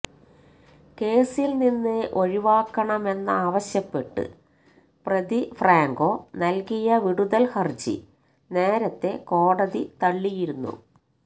കേസില് നിന്ന് ഒഴിവാക്കണമെന്നാവശ്യപ്പെട്ട് പ്രതി ഫ്രാങ്കോ നല്കിയ വിടുതല് ഹര്ജി നേരത്തെ കോടതി തള്ളിയിരുന്നു